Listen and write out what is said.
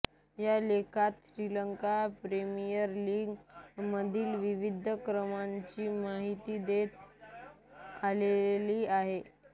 ह्या लेखात Sri Lanka premier league मधील विविध विक्रमांची माहिती देण्यात आलेली आहे